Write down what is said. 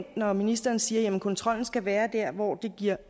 når ministeren siger at kontrollen skal være der hvor det giver